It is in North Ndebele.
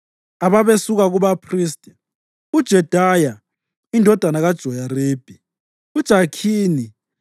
Ababesuka kubaphristi: uJedaya; indodana kaJoyaribi; uJakhini;